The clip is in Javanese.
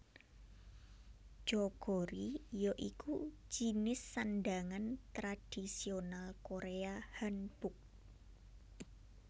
Jeogori ya iku jinis sandhangan tradisional Korea Hanbok